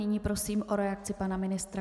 Nyní prosím o reakci pana ministra.